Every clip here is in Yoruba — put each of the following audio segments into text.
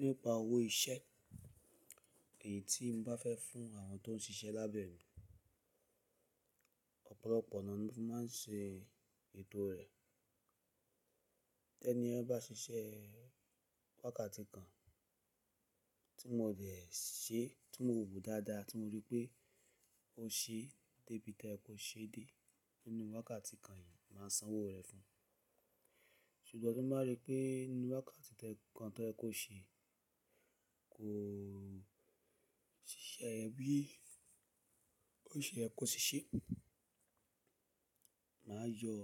Nípa owó iṣẹ́ èyí tí n bá fẹ́ fún àwọn tó ń ṣiṣẹ́ lábẹ́ mi, ọ̀pọ̀lọpọ̀ ona ni mofi máa ń ṣe ètò rẹ̀. Tẹ́níyen bá ṣiṣẹ́ wákàtí kan tí mo dẹ̀ ṣe, tí mo wò dáadáa, tí mo rí pé o ṣe débí to ye kò ṣe dé nínú wákàtí kan yìí, màá san owó rẹ fún ẹ. Ṣùgbọ́n tí mo bá rí pé nínú wákàtí kan tó ye kò ṣe kò ṣiṣẹ́ rẹ bí ó ṣe ye kò ṣe ṣé, màá yọ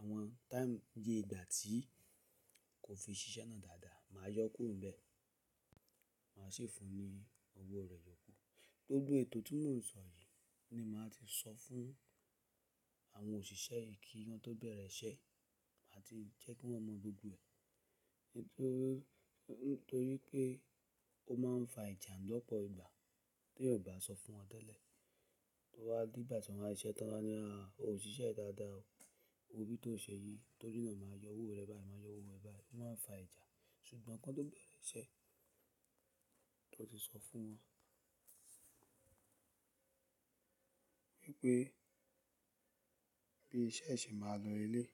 àwọn táìmù iye ìgbà tí kò fi ṣiṣẹ́ náà dáadáa, màá yọ kúrò bẹ́ẹ̀, màá sì fún ọ ní owó rẹ̀ yọ̀kù. Gbogbo ètò tí mò ń sọ yìí ni màá ti sọ fún àwọn òṣìṣẹ́ yìí kí wọn tó bẹ̀rẹ̀ iṣẹ́, màá ti jẹ́ kí wọ́n mọ gbogbo ẹ̀. Nítorí pé ó máa ń fa ìjà lọ́pọ̀ ìgbà tí ẹyan ò bá sọ fún wọn tẹ́lẹ̀. Towa di igba ti n wa siṣẹ́ tán, wa nì á, o ò ṣiṣẹ́ dáadáa o, o bí tó ṣe yìí, torí náà màá yọ owó rẹ báyìí, màá yọ owó ẹ báyìí, ó máa ń fa ìjà. Ṣùgbọ́n kí wọ́n tó bẹ̀rẹ̀ iṣẹ́, to ti sọ fún wọn wípé bí iṣẹ́ ṣe máa lọ leleyi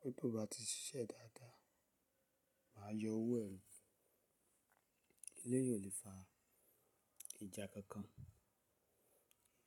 Wípé tó bá ti ṣiṣẹ́ dáadáa, màá yọ owó ẹ o. Eleyi o lè fa ìjà kankan.